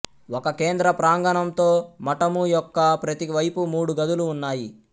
ఒక కేంద్ర ప్రాంగణంతో మఠము యొక్క ప్రతి వైపు మూడు గదులు ఉన్నాయి